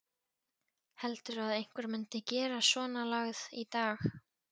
Heldurðu að einhver myndi gera svonalagað í dag?